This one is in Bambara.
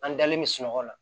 An dalen bɛ sunɔgɔ la